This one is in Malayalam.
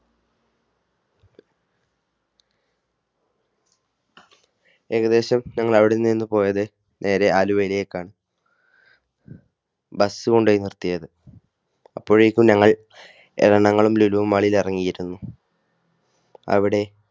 ഏകദേശം ഞങ്ങൾ അവിടെ നിന്നു പോയത് നേരെ ആലുവയിലേക്കാണ്. ബസ് കൊണ്ടുപോയി നിർത്തിയത്. അപ്പോഴേക്കും ഞങ്ങൾ എറണാകുളം ലുലു mall ൽ ഇറങ്ങിയിരുന്നു. അവിടെ